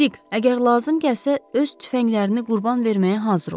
Dig, əgər lazım gəlsə öz tüfənglərini qurban verməyə hazır ol.